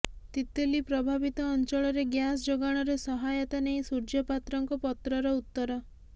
ତିତଲି ପ୍ରଭାବିତ ଅଂଚଳରେ ଗ୍ୟାସ ଯୋଗାଣରେ ସହାୟତା ନେଇ ସୂର୍ଯ୍ୟ ପାତ୍ରଙ୍କ ପତ୍ରର ଉତର